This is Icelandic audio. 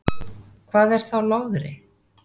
Hvað er þá logri?